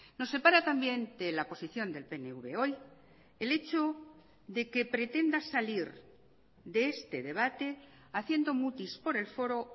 nos separa también de la posición del pnv hoy el hecho de que pretenda salir de este debate haciendo mutis por el foro